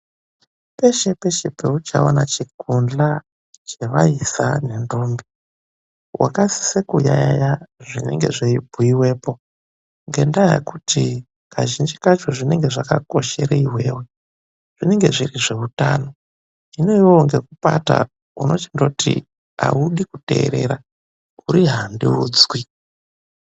Peshe peshe peuchaona chikundlwa chevaisa nendombi, wakasise kuyaeya zvinenge zveibhuyiwepo, ngendaa yekuti kazhinji kacho zvinenge zvakakoshere iwewe. Zvinenge zviri zveutano. Hino iwewe ngekupata unochindoti haudi kuteerera, uri handiudzwi.